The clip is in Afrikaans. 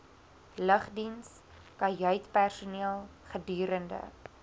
lugdiens kajuitpersoneel gedurende